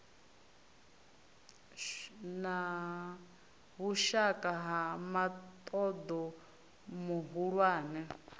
na vhushaka na muṱoḓo muhulwane